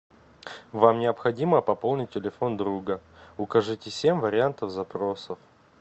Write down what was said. вам необходимо пополнить телефон друга укажите семь вариантов запроса